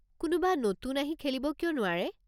কোনোবা নতুন আহি খেলিব কিয় নোৱাৰে?